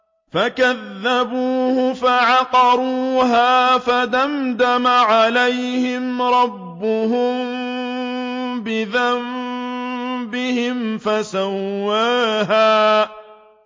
فَكَذَّبُوهُ فَعَقَرُوهَا فَدَمْدَمَ عَلَيْهِمْ رَبُّهُم بِذَنبِهِمْ فَسَوَّاهَا